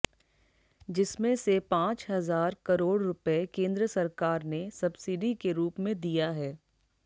जिसमें से पांच हजार करोड़ रुपए केंद्र सरकार ने सब्सिडी के रूप में दिया है